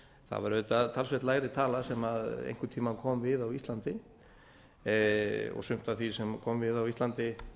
það var auðvitað talsvert lægri tala sem einhvern tíma kom við á íslandi sumt af því sem kom við á íslandi